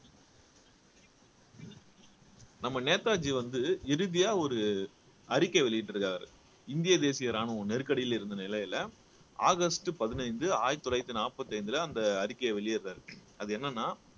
நம்ம நேதாஜி வந்து இறுதியா ஒரு அறிக்கை வெளியிட்டு இருக்காரு இந்திய தேசிய ராணுவம் நெருக்கடியில இருந்த நிலையில ஆகஸ்ட் பதினைந்து ஆயிரத்தி தொள்ளாயிரத்தி நாற்பத்தி ஐந்துல அந்த அறிக்கையை வெளியிடுறார் அது என்னன்னா